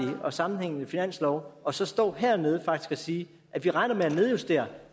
og sammenhængende finanslov og så stå hernede og faktisk sige vi regner med at nedjustere